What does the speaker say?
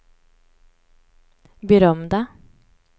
berömda